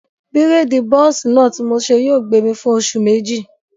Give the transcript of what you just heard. Bírèèdì bọ́ọ̀sì náà ti mo ṣe yóò gbé mi fún oṣù méjì